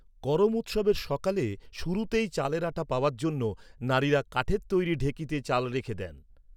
করম উৎসবের সকালে শুরুতেই চালের আটা পাওয়ার জন্য নারীরা কাঠের তৈরি ঢেঁকিতে চাল রেখে দেন।